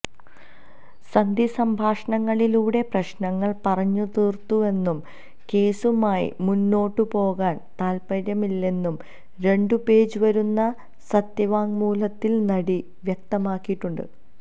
സന്ധി സംഭാഷണങ്ങളിലൂടെ പ്രശ്നങ്ങൾ പറഞ്ഞുതീർത്തുവെന്നും കേസുമായി മുന്നോട്ടുപോകാൻ താത്പര്യമില്ലെന്നും രണ്ടു പേജ് വരുന്ന സത്യവാങ്മൂലത്തിൽ നടി വ്യക്തമാക്കിയിട്ടുണ്ട്